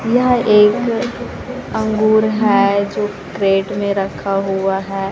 यह एक अंगूर है जो प्लेट में रखा हुआ है।